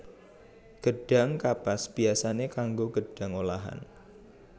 Gedhang kapas biyasané kanggo gedhang olahan